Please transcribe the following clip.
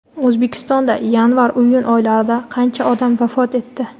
O‘zbekistonda yanvar-iyun oylarida qancha odam vafot etdi?.